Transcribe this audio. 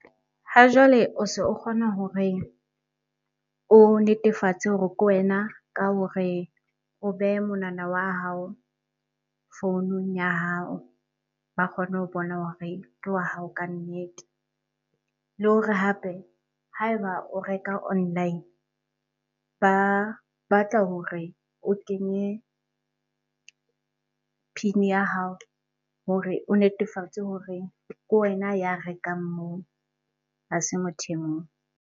Ha jwale o se o kgona hore o netefatse hore ke wena ka hore o behe monwana wa hao founung ya hao ba kgone ho bona hore ke wa hao ka nnete. Le hore hape ha e ba o reka online ba batla hore o kenye PIN ya hao hore o netefatse hore ke wena ya rekang moo, ha se motho e mong.